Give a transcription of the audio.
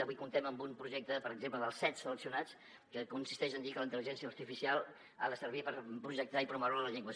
avui comptem amb un projecte per exemple dels set seleccionats que consisteix en dir que la intel·ligència artificial ha de servir per projectar i promoure la llengua